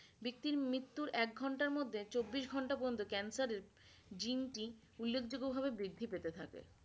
ব্যক্তির মৃত্যুর এক ঘন্টার মধ্যে চব্বিশ ঘন্টা পর্যন্ত cancer এর gene টি উল্লেখ যোগ্য ভাবে বৃদ্ধি পেতে থাকে।